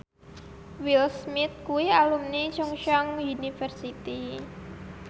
Will Smith kuwi alumni Chungceong University